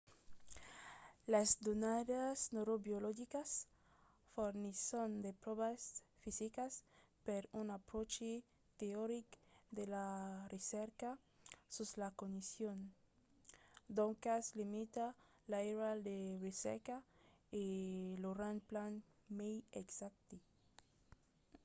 las donadas neurobiologicas fornisson de pròvas fisicas per un apròchi teoric de la recerca sus la cognicion. doncas limita l'airal de recerca e lo rend plan mai exacte